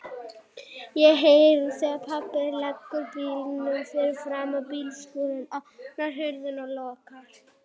Ég heyri þegar pabbi leggur bílnum fyrir framan bílskúrinn, opnar hurðina og lokar.